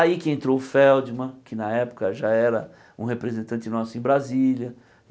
Aí que entrou o Feldman, que na época já era um representante nosso em Brasília.